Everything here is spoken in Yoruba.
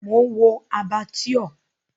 Mò ń wo Abattoir.